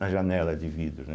Na janela de vidro, né?